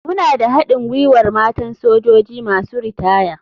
Muna da haɗin gwiwar matan sojoji masu ritaya.